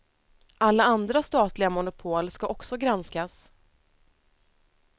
Alla andra statliga monopol ska också granskas.